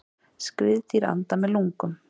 Skriðdýr anda með lungum.